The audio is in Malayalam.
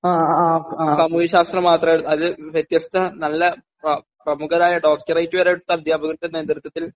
സാമൂഹ്യശാസ്ത്രം മാത്രേ അത് വ്യത്യസ്ത നല്ല പ പ്രമുഖരായ ഡോക്ടറേറ്റു വരെയെടുത്ത അധ്യാപകരുടെ നേതൃത്വത്തിൽ